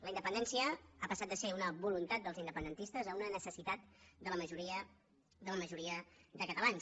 la independència ha passat de ser una voluntat dels independentistes a una necessitat de la majoria de la majoria de catalans